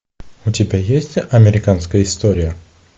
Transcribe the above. у тебя есть американская история